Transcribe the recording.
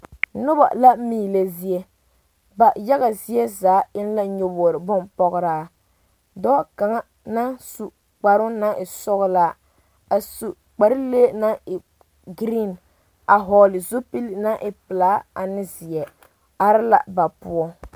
Noba la meelɛ zie ba yaga zie zaa eŋ la nyɔboo bompɔgeraa dɔɔ kaŋa naŋ su kparoo naŋ e sɔgelaa a su kpar lee naŋ e geree a vɔgele zupili naŋ e pelaa ane zeɛ be la poɔ